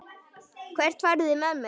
Hvert farið þið með mig?